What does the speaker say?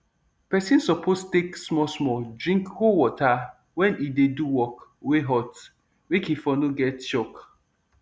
pesin suppose take smallsmall drink cold water wen e dey do work wey hot make e for no get shock